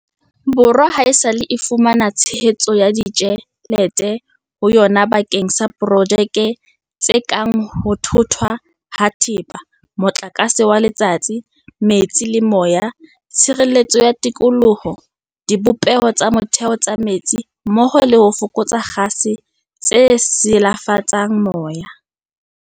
Borwa haesale e fumana tshehetso ya ditjhe lete ho yona bakeng sa projeke tse kang ho thothwa ha thepa, motlakase wa letsatsi, metsi le moya, tshireletso ya tikoloho, dibopeho tsa motheo tsa metsi mmoho le ho fokotsa kgase tse silafatsang moya.